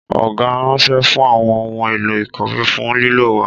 Ọgá ranṣẹ fún àwọn ohun èlò ìkòwé fún lílò wa